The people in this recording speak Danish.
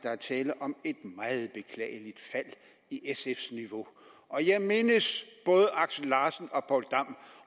er tale om et meget beklageligt fald i sf’s niveau jeg mindes både axel larsen og poul dam